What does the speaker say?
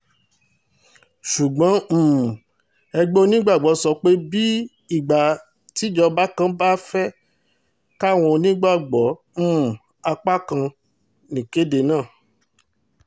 ṣùgbọ́n um ẹgbẹ́ onígbàgbọ́ sọ pé bíi ìgbà tíjọba kan ba fẹ́ẹ́ kàwọn onígbàgbọ́ um ápá kan níkédé náà